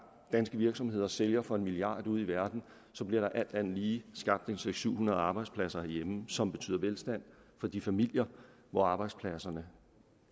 danske virksomheder sælger for en milliard kroner ude i verden så bliver der alt andet lige skabt seks hundrede arbejdspladser herhjemme som betyder velstand for de familier hvor arbejdspladserne